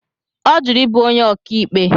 Ọ jụrụ ịbụ onye ọkàikpe.